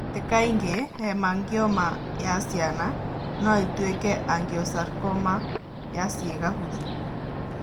Ti kaingĩ, hemangioma ya ciana no ĩtuĩke angiosarcoma ya ciĩga hũthũ.